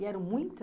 E eram muitas?